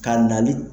Ka nali